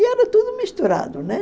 E era tudo misturado, né?